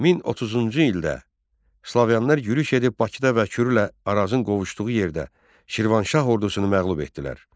1030-cu ildə Slaviyalılar yürüş edib Bakıda və Kürülə Arazın qovuşduğu yerdə Şirvanşah ordusunu məğlub etdilər.